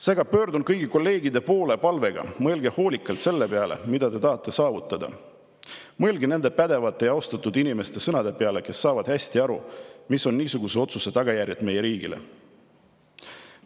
Seega pöördun kõigi kolleegide poole palvega: mõelge hoolikalt selle peale, mida te tahate saavutada, mõelge nende pädevate ja austatud inimeste sõnade peale, kes saavad hästi aru, mis on niisuguse otsuse tagajärjed meie riigile.